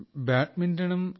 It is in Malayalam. Badminton ആൻഡ് താൻ റോവിംഗ്